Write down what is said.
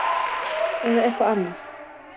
Eða eitthvað annað?